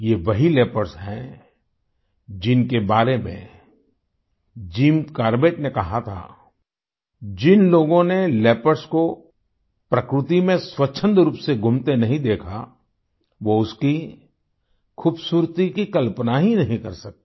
ये वही लियोपार्ड्स हैं जिनके बारे में जिम कॉर्बेट ने कहा था जिन लोगों ने लियोपार्ड्स को प्रकृति में स्वछन्द रूप से घूमते नहीं देखा वो उसकी खूबसूरती की कल्पना ही नहीं कर सकते